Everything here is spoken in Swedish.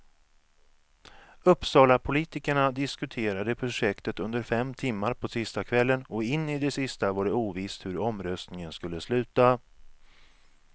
Uppsalapolitikerna diskuterade projektet under fem timmar på tisdagskvällen och in i det sista var det ovisst hur omröstningen skulle sluta.